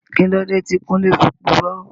Kíló dé tí Kúnlé fi purọ́?